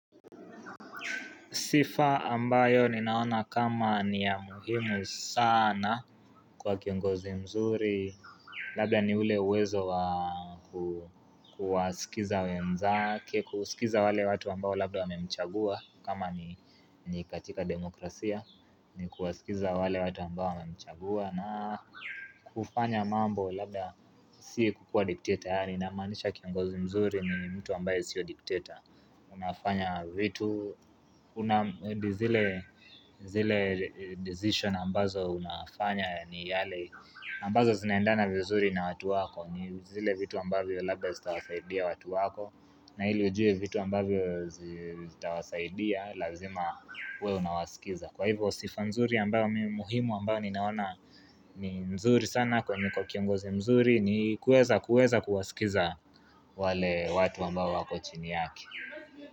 Sifa ambayo ninaona kama ni ya muhimu sana kwa kiongozi mzuri Labda ni ule uwezo wa kuwasikiza wenzake, kusikiza wale watu ambao labda wamemchagua, kama ni katika demokrasia, ni kuwasikiza wale watu ambao wamemchagua, na kufanya mambo labda si kukua dikteta yaani namaanisha kiongozi mzuri ni mtu ambaye sio dikteta Unafanya vitu zile zile decision ambazo unafanya ni yale ambazo zinaendana vizuri na watu wako, ni zile vitu ambavyo labda zitawasaidia watu wako na ili ujue vitu ambavyo zitawasaidia, lazima uwe unawasikiza. Kwa hivyo sifa nzuri ambayo muhimu ambayo ninaona ni nzuri sana kwa kiongozi mzuri ni kuweza kuweza kuwasikiza wale watu ambao wako chini yake.